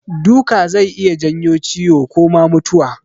Duka zai iya janyo ciwo ko ma mutuwa.